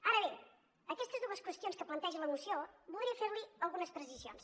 ara bé en aquestes dues qüestions que planteja la moció voldria fer li algunes precisions